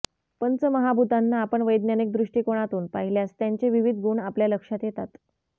पंचमहाभूतांना आपण वैधानिक दृष्टिकोनातून पाहिल्यास त्यांचे विविध गुण आपल्या लक्षात येतात